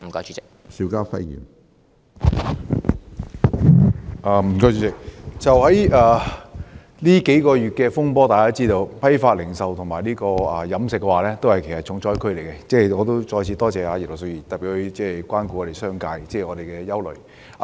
主席，就這數個月的風波，大家知道批發及零售業和飲食業均是重災區，我再次多謝葉劉淑儀議員特別關顧商界的憂慮。